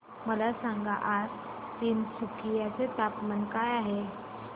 मला सांगा आज तिनसुकिया चे तापमान काय आहे